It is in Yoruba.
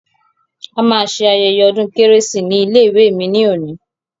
A ma ṣe ayẹyẹ ọdún kérésì ní ilé ìwé mi ní òní.